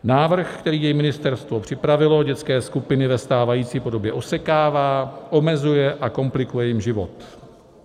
Návrh, který její ministerstvo připravilo, dětské skupiny ve stávající podobě osekává, omezuje a komplikuje jim život.